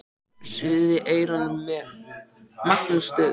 Suðið í eyrum mér magnast stöðugt.